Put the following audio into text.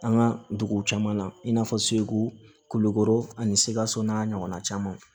An ka dugu caman na i n'a fɔ segu kulukoro ani sikaso n'a ɲɔgɔnna camanw